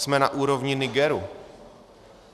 Jsme na úrovni Nigeru.